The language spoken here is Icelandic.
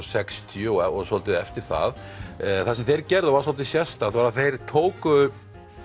sextíu og svolítið eftir það það sem þeir gerðu var svolítið sérstakt þeir tóku